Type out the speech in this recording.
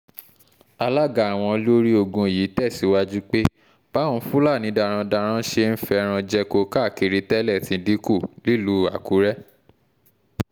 alága àwọn olórí ogun yìí tẹ̀síwájú pé báwọn fúlàní darandaran ṣe ń fẹ́ràn jẹko káàkiri tẹ́lẹ̀ ti dínkù nílùú àkùrẹ́